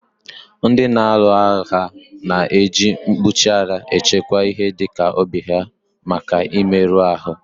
Ndị na-alu agha na èji mkpuchi ara echekwa ihe dịka obi ha maka mmerụ ahụ